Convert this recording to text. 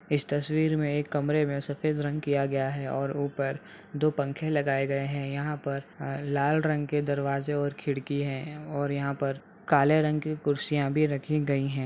इस तस्वीर मे एक कमरे मे सफ़ेद रंग किया गया है और ऊपर दो पंखे लगाये गएँ हैं | यहाँ पर अ लाल रंग के दरवाजे और खिड़की हैं और यहाँ पर काले रंग की कुर्सियाँ भी रखीं गयीं हैं।